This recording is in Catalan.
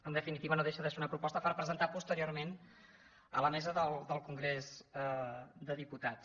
en definitiva no deixa de ser una proposta per presentar posteriorment a la mesa del congrés de diputats